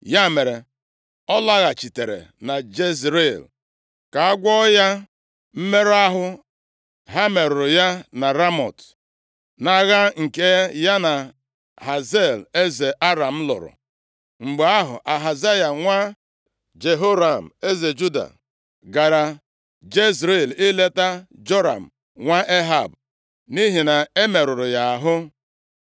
ya mere, ọ lọghachitere na Jezril ka a gwọọ ya mmerụ ahụ ha merụrụ ya na Ramọt, nʼagha nke ya na Hazael eze Aram lụrụ. Mgbe ahụ, Ahazaya nwa Jehoram, eze Juda gara Jezril ileta Joram nwa Ehab, nʼihi na e merụrụ ya ahụ.